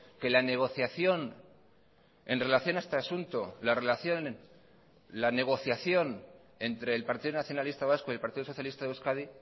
que la negociación en relación a este asunto la relación la negociación entre el partido nacionalista vasco y el partido socialista de euskadi